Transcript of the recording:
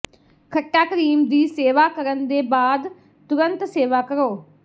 ਖੱਟਾ ਕਰੀਮ ਦੀ ਸੇਵਾ ਕਰਨ ਦੇ ਬਾਅਦ ਤੁਰੰਤ ਸੇਵਾ ਕਰੋ